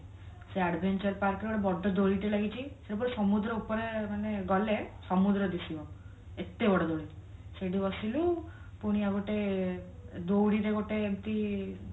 ସେ adventure park ରେ ଗୋଟେ ବଡ ଦୋଳି ଟେ ଲାଗିଛି ସେ ପୁରା ସମୁଦ୍ର ଉପରେ ମାନେ ଗଲେ ସମୁଦ୍ର ଦିଶିବ ଏତେ ବଡ ଦୋଳି ସେଠି ବସିଲୁ ପୁଣି ଆଉଗୋଟେ ଦଉଡିରେ ଗୋଟେ ଏମିତି